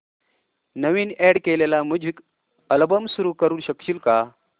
नवीन add केलेला music album सुरू करू शकशील का